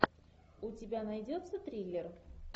у тебя найдется триллер